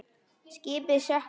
Skipið sökk á einni mínútu.